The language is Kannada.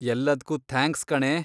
ಎಲ್ಲದ್ಕೂ ಥ್ಯಾಂಕ್ಸ್ ಕಣೇ.